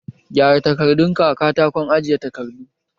Gyara takardun ka a katakon ajeyi takardu!